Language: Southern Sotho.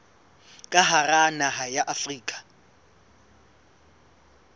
ka hara naha ya afrika